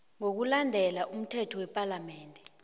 ngokulandela umthetho wepalamende